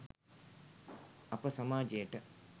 අප සමාජයට